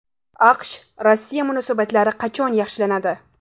AQSh – Rossiya munosabatlari qachon yaxshilanadi?